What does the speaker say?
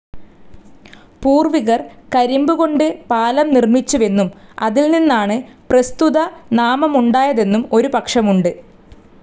പൂർ‌വികർ കരിമ്പുകൊണ്ട് പാലം നിർമ്മിച്ചുവെന്നും അതിൽനിന്നാണ്‌ പ്രസ്തുതനാമമുണ്ടായതെന്നും ഒരു പക്ഷമുണ്ട്.